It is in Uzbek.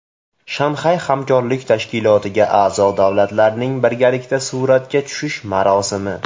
Shanxay Hamkorlik Tashkilotiga a’zo davlatlarning birgalikda suratga tushish marosimi.